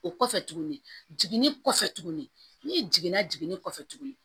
O kɔfɛ tuguni n'i jiginna jiginni kɔfɛ tuguni